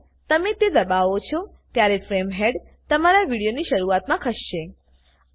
જ્યારેપણ તમે તે દબાવો છો ત્યારે ફ્રેમ હેડ તમારા વિડીયોની શરૂઆતમાં ખસશે